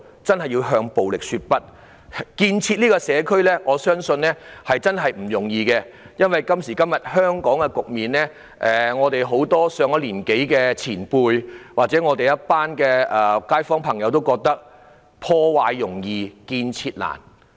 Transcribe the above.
我相信建設社區殊不容易，面對香港現時的局面，很多上了年紀的前輩或街坊朋友都歎破壞容易、建設難。